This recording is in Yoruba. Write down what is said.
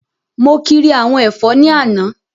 Mo kiri àwọn ẹ̀fọ́ ní àná